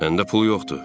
Məndə pul yoxdur.